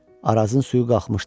Arazın suyu qalxmışdı.